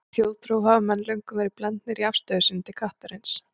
Í þjóðtrú hafa menn löngum verið blendnir í afstöðu sinni til kattarins.